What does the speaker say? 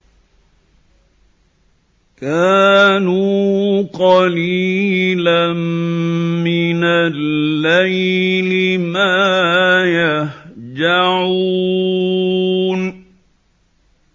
كَانُوا قَلِيلًا مِّنَ اللَّيْلِ مَا يَهْجَعُونَ